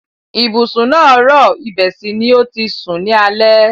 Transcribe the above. Ibùsùn náà rọ̀, ibẹ̀ sì ni o ti sùn ní alẹ́.